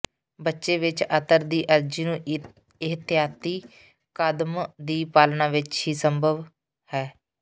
ਬੱਚੇ ਵਿੱਚ ਅਤਰ ਦੀ ਅਰਜ਼ੀ ਨੂੰ ਇਹਤਿਆਤੀ ਕਦਮ ਦੀ ਪਾਲਣਾ ਵਿੱਚ ਹੀ ਸੰਭਵ ਹੈ